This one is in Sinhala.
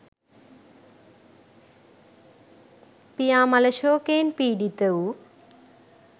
පියා මළ ශෝකයෙන් පිඩිත වූ